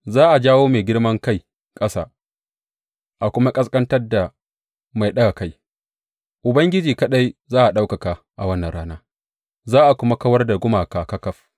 Za a jawo mai girman kai ƙasa a kuma ƙasƙantar da mai ɗaga kai; Ubangiji kaɗai za a ɗaukaka a wannan rana, za a kuma kawar da gumaka ƙaƙaf.